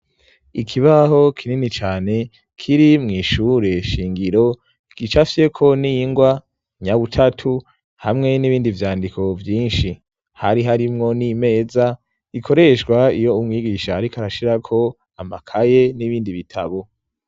Ikibaho kinini cane kiri mw'ishure shingiro gica fyeko n'ingwa nyabutatu hamwe n'ibindi vyandiko vyinshi hari harimwo n'imeza ikoreshwa iyo umwigisha, ariko arashirako amakaye n'ibindi bitabo.